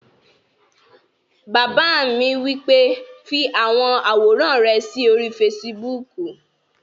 Bàbá mi wí pé "fi àwọn àwòrán rẹ sí orí fesibúùkù!"